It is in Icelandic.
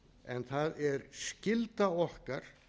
en það er skylda okkar